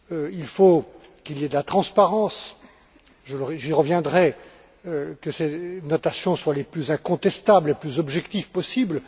Il faut qu'il y ait de la transparence j'y reviendrai que ces notations soient les plus incontestables, les plus objectives possibles.